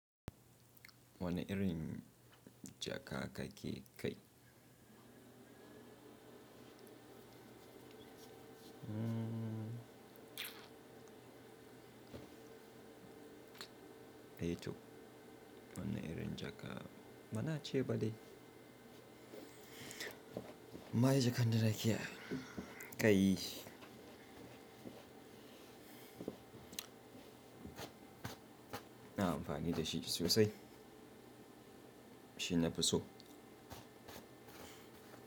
Wani irin jaka ka ke kai? Mmm eh toh, wani irin jaka. Bana ceba dai. Ma jaka ɗin da ke kai. Na amfani da shi sosai. Shi na fi so.